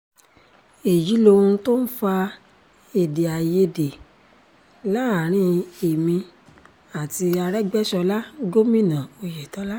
èyí lohun tó ń fa èdè àìyedè láàrin èmi àti aregbèsọlá gómìnà oyetola